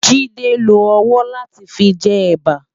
Jide n ló òwò lá ti fi jè èbá